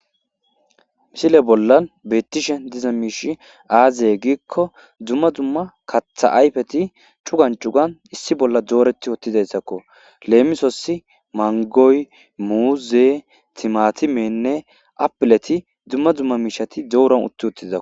Misile bolla bettishe diza miish aaze giikko dumma dumma katha ayfeti cugan cugan issi bolla dooreti uttizayssakko. Leemisossi mangoy,muuze,timatimenne apileti dumma dumma miishati dooran utti uttidakko.